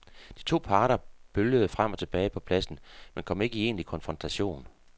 De to parter bølgede frem og tilbage på pladsen, men kom ikke i egentlig konfrontation.